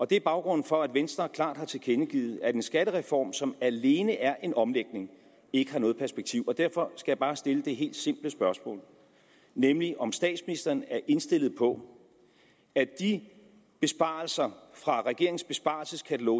det er baggrunden for at venstre klart har tilkendegivet at en skattereform som alene er en omlægning ikke har noget perspektiv og derfor skal jeg bare stille det helt simple spørgsmål nemlig om statsministeren er indstillet på at de besparelser fra regeringens besparelseskatalog